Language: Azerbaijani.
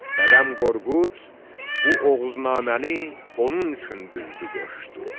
Dədəm Qorqud bu oğuznaməni onun üçün düzdü qoşdu.